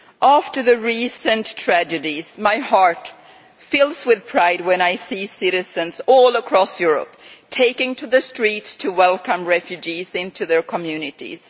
After the recent tragedies, my heart fills with pride when I see citizens all across Europe taking to the streets to welcome refugees into their communities.